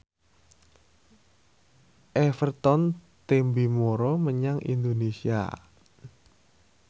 Everton tembe mara menyang Indonesia